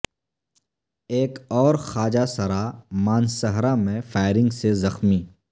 ایک اور خواجہ سرا مانسہرہ میں فائرنگ سے زخمی